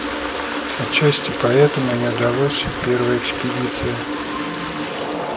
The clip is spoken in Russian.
отчасти поэтому и не удалось первая экспедиция